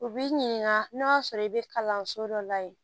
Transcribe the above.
U b'i ɲininka n'o y'a sɔrɔ i bɛ kalanso dɔ la yen